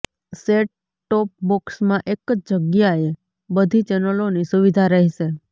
set top બોક્સમાં એક જ જગ્યાએ બધી ચેનલોની સુવિધા રહેશે